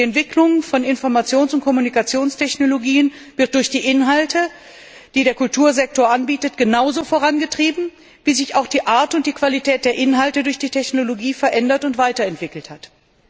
Die Entwicklung von Informations und Kommunikationstechnologien wird durch die Inhalte, die der Kultursektor anbietet, genauso vorangetrieben, wie sich auch die Art und die Qualität der Inhalte durch die Technologie verändert und weiterentwickelt haben.